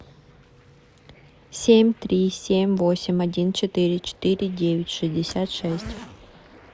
семь три семь восемь один четыре четыре девять шестьдесят шесть